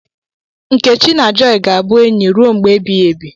Nkechi na Joy ga-abụ enyi ruo mgbe ebighị ebi.